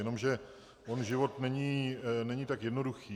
Jenomže on život není tak jednoduchý.